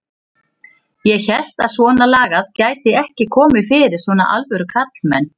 Ég hélt að svonalagað gæti ekki komið fyrir svona alvöru karlmenn.